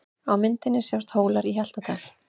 Á myndinni sjást Hólar í Hjaltadal.